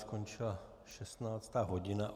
Skončila 16. hodina.